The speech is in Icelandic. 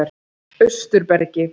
Austurbergi